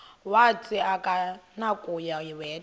wathi akunakuya wedw